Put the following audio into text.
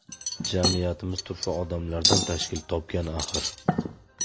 Jamiyatimiz turfa odamlardan tashkil topgan axir.